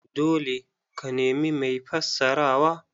Dole ka nemi mai fassarawa.